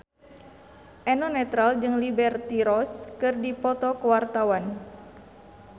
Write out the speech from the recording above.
Eno Netral jeung Liberty Ross keur dipoto ku wartawan